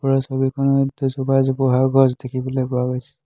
ওপৰৰ ছবিখনত দুজোপা জোপোহা গছ দেখিবলৈ পোৱা গৈছে।